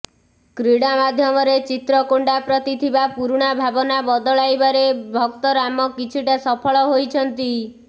କ୍ରୀଡ଼ା ମାଧ୍ୟମରେ ଚିତ୍ରକୋଣ୍ଡା ପ୍ରତି ଥିବା ପୁରୁଣା ଭାବନା ବଦଳାଇବାରେ ଭକ୍ତରାମ କିଛିଟା ସଫଳ ହୋଇଛନ୍ତି